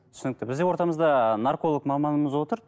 түсінікті бізде ортамызда нарколог маманымыз отыр